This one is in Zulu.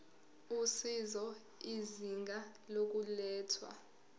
usizo izinga lokulethwa